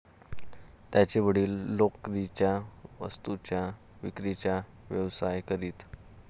त्यांचे वडील लोकरीच्या वस्तूंच्या विक्रीचा व्यवसाय करीत.